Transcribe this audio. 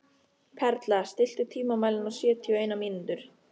Perla, stilltu tímamælinn á sjötíu og eina mínútur.